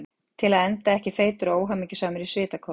Til að enda ekki feitur og óhamingjusamur í svitakófi.